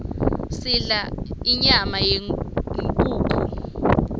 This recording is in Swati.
sidla inyama yenkhukhu